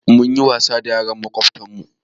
Mun yi wasa da yaran makwabtan mu